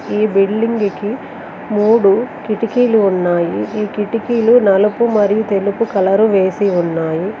ఈ బిల్డింగ్ కి మూడు కిటికీలు ఉన్నాయి ఈ కిటికీలు నలుపు మరియు తెలుపు కలరు వేసి ఉన్నాయి.